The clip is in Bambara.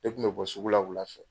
Ne tun bɛ bɔ sugu la wula fɛ.